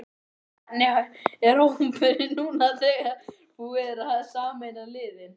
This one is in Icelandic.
Hvernig er hópurinn núna þegar búið er að sameina liðin?